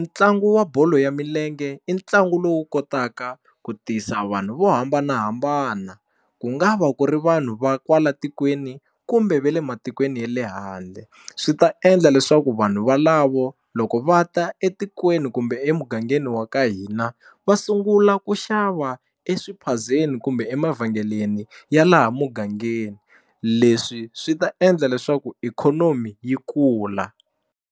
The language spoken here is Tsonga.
ntlangu wa bolo ya milenge i ntlangu lowu kotaka ku tisa vanhu vo hambanahambana ku nga va ku ri vanhu va kwala tikweni kumbe va le matikweni ya le handle swi ta endla leswaku vanhu valavo loko va ta etikweni kumbe emugangeni wa ka hina va sungula ku xava eswiphazeni kumbe emavhengeleni ya laha mugangeni leswi swi ta endla leswaku ikhonomi yi kula.